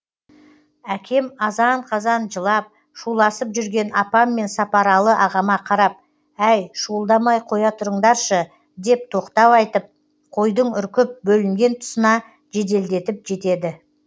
әкем азан қазан жылап шуласып жүрген апам мен сапаралы ағама қарап әй шуылдамай қоя тұрыңдаршы деп тоқтау айтып қойдың үркіп бөлінген тұсына жеделдетіп жетеді